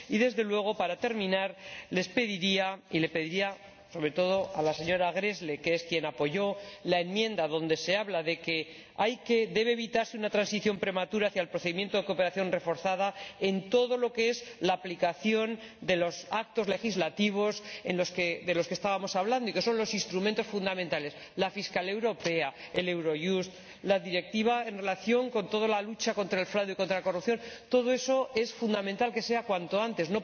Y, desde luego, para terminar, les pediría —y le pediría sobre todo a la señora Gräßle, que es quien apoyó la enmienda en la que se habla de que debe evitarse una transición prematura hacia el procedimiento de cooperación reforzada en lo relacionado con la aplicación de los actos legislativos de los que estábamos hablando y que son los instrumentos fundamentales la Fiscalía europea, Eurojust, la Directiva relativa a la lucha contra el fraude y contra la corrupción— que todo eso se ponga en práctica cuanto antes.